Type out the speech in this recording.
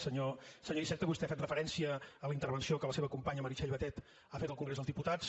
senyor iceta vostè ha fet referència a la intervenció que la seva companya meritxell batet ha fet al congrés dels diputats